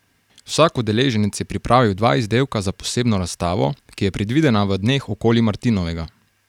Vsak udeleženec je pripravil dva izdelka za posebno razstavo, ki je predvidena v dneh okoli martinovega.